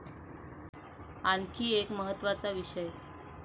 आणखी एक महत्त्वाचा विषय.